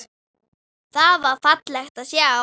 Það var fallegt að sjá.